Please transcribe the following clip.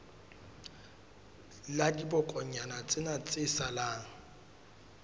la dibokonyana tsena tse salang